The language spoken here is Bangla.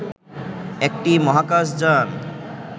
একটি মহাকাশ যান